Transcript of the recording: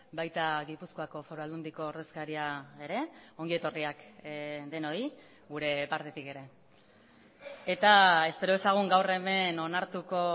baita gipuzkoako foru aldundiko ordezkaria ere ongi etorriak denoi gure partetik ere eta espero dezagun gaur hemen onartuko